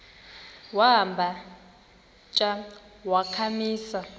wamba tsha wakhamisa